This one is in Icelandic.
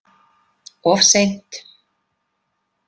Of seint